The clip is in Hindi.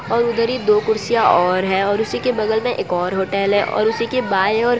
और उधर ही दो कुर्सियां और है और उसी के बगल में एक और होटल है और उसी के बाय ओर --